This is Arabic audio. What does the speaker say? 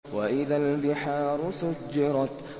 وَإِذَا الْبِحَارُ سُجِّرَتْ